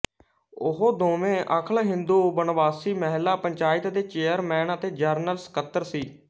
ਉਹ ਦੋਵੇਂ ਅਖ਼ਲ ਹਿੰਦੂ ਵਨਵਾਸੀ ਮਹਿਲਾ ਪੰਚਾਇਤ ਦੇ ਚੇਅਰਮੈਨ ਅਤੇ ਜਨਰਲ ਸਕੱਤਰ ਸੀ